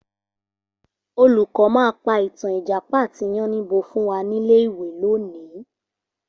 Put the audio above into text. Olùkọ́ máa pa ìtàn Ìjàpá àti yánníbo fún wa nílé ìwé lónìí